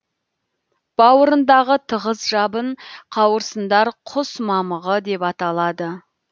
бауырындағы тығыз жабын қауырсындар құс мамығы деп аталады